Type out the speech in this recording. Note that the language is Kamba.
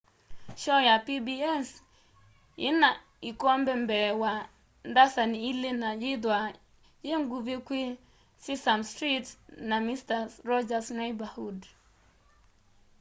shoo ya pbs ina ikombe mbee wa ndasani ili na yithwaa yinguvi kwi sesame street na mister rogers' neighborhood